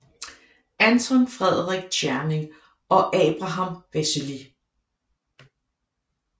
Anton Frederik Tscherning og Abraham Wessely